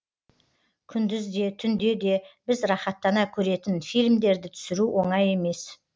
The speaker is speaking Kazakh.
күндіз де түнде де біз рахаттана көретін фильмдерді түсіру оңай емес